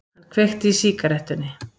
Hann kveikti í sígarettunni.